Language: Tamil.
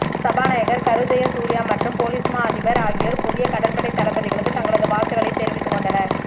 சபாநாயகர் கரு ஜயசூர்ய மற்றும் பொலீஸ் மா அதிபா் ஆகியோா் புதிய கடற்படை தளபதிகளுக்கு தங்களது வாழ்த்துக்களை தெரிவித்துக்கொண்டனா்